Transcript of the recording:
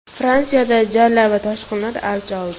Fransiyada jala va toshqinlar avj oldi.